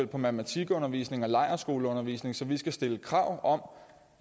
på matematikundervisning og lejrskoleundervisning så vi skal stille krav om